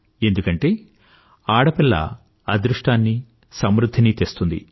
ఎందుకంటే ఆడపిల్ల అదృష్టాన్నీ సమృధ్ధినీ తెస్తుంది